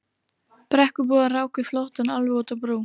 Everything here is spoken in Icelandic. Brekkubúar ráku flóttann alveg út á brú.